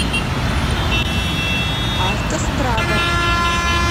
автострада